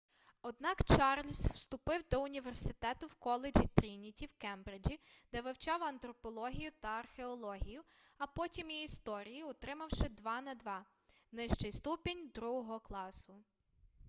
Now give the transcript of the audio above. однак чарльз вступив до університету в коледжі трініті в кембриджі де вивчав антропологію та археологію а потім і історію отримавши 2:2 нижчий ступінь другого класу